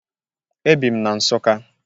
E bị m na Nsụka